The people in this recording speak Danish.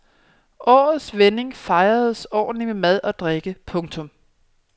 Årets vending fejredes ordentligt med mad og drikke. punktum